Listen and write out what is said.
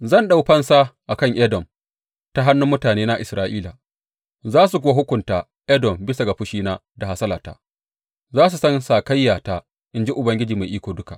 Zan ɗau fansa a kan Edom ta hannun mutanena Isra’ila, za su kuwa hukunta Edom bisa ga fushina da hasalata; za su san sakayyata, in ji Ubangiji Mai Iko Duka.’